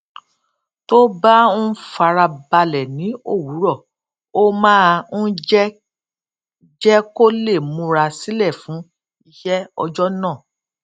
tó bá ń fara balè ní òwúrò ó máa ń jé jé kó lè múra sílè fún iṣé ọjó náà